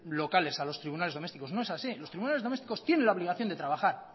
locales a los tribunales domésticos no es así los tribunales domésticos tienen la obligación de trabajar